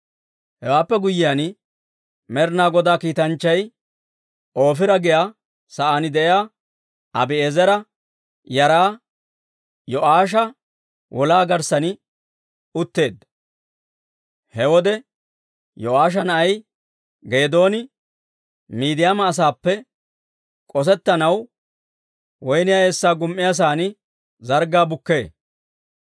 Hewaappe guyyiyaan, Med'inaa Godaa kiitanchchay Oofira giyaa saan de'iyaa Abi'eezera yaraa Yo'aasha wolaa garssan utteedda. He wode Yo'aasha na'ay Geedooni Midiyaama asaappe k'osettanaw woyniyaa eessaa gum"iyaasan zarggaa bukkee.